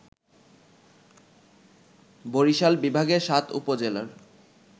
বরিশাল বিভাগের ৭ উপজেলার